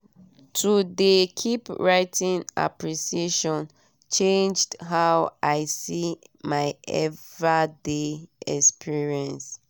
to de keep writing appreciation changed how i see my ever day experiences.